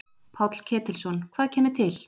Páll Ketilsson: Hvað kemur til?